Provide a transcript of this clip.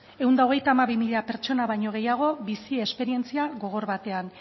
ehun eta hogeita hamabi mila pertsona baino gehiago bizi esperientzia gogor batean